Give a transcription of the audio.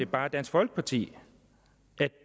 bare dansk folkeparti